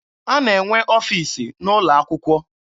A na-enwe ọfiisi n'ụlọ akwụkwọ.